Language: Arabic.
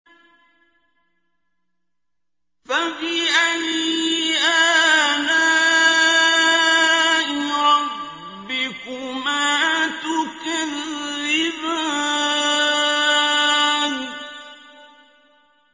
فَبِأَيِّ آلَاءِ رَبِّكُمَا تُكَذِّبَانِ